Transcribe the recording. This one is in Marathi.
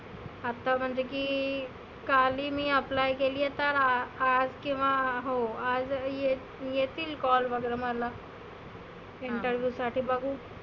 आता म्हणजे की काल ही मी apply केली आहे तर आज किंवा हो आज येतील call वगैरा मला. Interview साठी बघु.